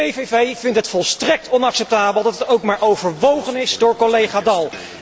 De PPV vindt het volstrekt onacceptabel dat dat ook maar overwogen is door collega Daul.